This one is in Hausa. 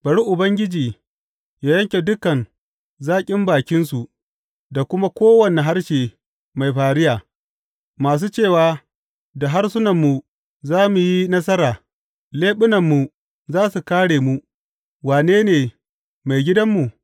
Bari Ubangiji yă yanke dukan zaƙin bakinsu da kuma kowane harshe mai fariya, masu cewa, Da harsunanmu za mu yi nasara; leɓunanmu za su kāre mu, wane ne maigidanmu?